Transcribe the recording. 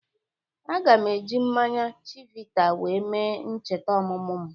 Aga m eji mmanya chivita we mee ncheta ọmumụ m